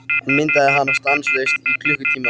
Hann myndaði hana stanslaust í klukkutíma.